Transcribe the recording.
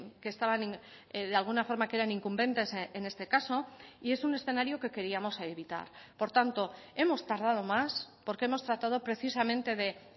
que estaban de alguna forma que eran incumbentes en este caso y es un escenario que queríamos evitar por tanto hemos tardado más porque hemos tratado precisamente de